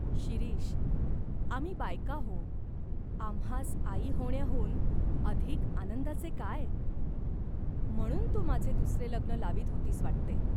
शिरीष, आम्ही बायका हो. आम्हास आई होण्याहून अधिक आनंदाचे काय ?" "म्हणून तू माझे दुसरे लग्न लावीत होतीस वाटते ?